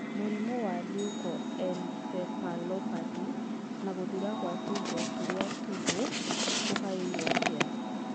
Mũrimũ wa leukoencephalopathy na gũthira kwa tũindo tũrĩa tũhũ ũgaĩrũo atĩa?